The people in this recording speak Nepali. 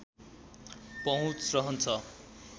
पहुँच रहन्छ